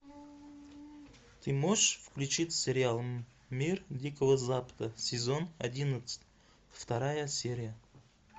ты можешь включить сериал мир дикого запада сезон одиннадцать вторая серия